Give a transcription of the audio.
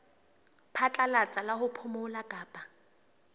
phatlalatsa la ho phomola kapa